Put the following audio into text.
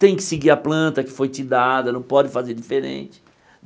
Tem que seguir a planta que foi te dada, não pode fazer diferente.